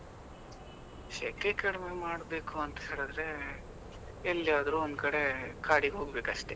ಸೆಕೆ ಕಡಿಮೆ ಮಾಡಬೇಕು ಅಂತ ಹೇಳಿದ್ರೆ ಎಲ್ಲಿ ಆದ್ರೂ ಒಂದ್ ಕಡೆ, ಕಾಡಿಗೆ ಹೋಗ್ಬೇಕು ಅಷ್ಟೇ.